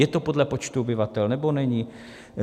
Je to podle počtu obyvatel, nebo není?